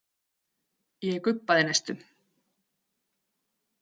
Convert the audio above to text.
Ég gubbaði næstum.